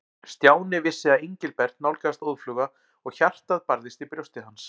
Stjáni vissi að Engilbert nálgaðist óðfluga og hjartað barðist í brjósti hans.